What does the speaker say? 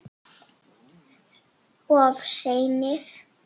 Of seinir!